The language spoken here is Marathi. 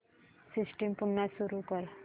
सिस्टम पुन्हा सुरू कर